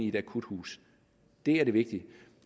et akuthus det er det vigtige